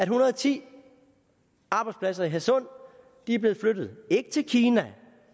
hundrede og ti arbejdspladser i hadsund er blevet flyttet ikke til kina